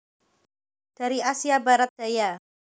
Dari Asia Barat Daya